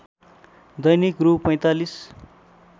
दैनिक रु ४५